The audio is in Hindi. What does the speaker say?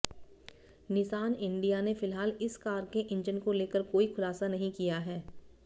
निसान इंडिया ने फिलहाल इस कार के इंजन को लेकर कोई खुलासा नहीं किया है